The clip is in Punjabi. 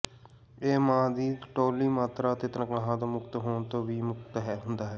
ਇਹ ਮਾਂ ਦੀ ਤੌਹਲੀ ਮਾਤਰਾ ਅਤੇ ਤਨਖ਼ਾਹਾਂ ਤੋਂ ਮੁਕਤ ਹੋਣ ਤੋਂ ਵੀ ਮੁਕਤ ਹੁੰਦਾ ਹੈ